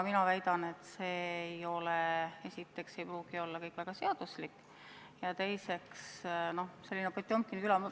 Mina väidan, et see esiteks ei pruugi kõik olla väga seaduslik, ja teiseks, see on selline Potjomkini küla ...